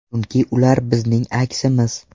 Chunki ular bizning aksimiz.